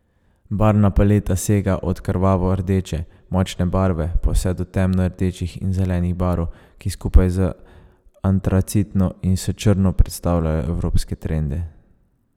Barvna paleta sega od krvavo rdeče, močne barve, pa vse do temno rdečih in zelenih barv, ki skupaj z antracitno in s črno predstavljajo evropske trende.